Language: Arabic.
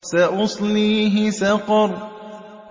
سَأُصْلِيهِ سَقَرَ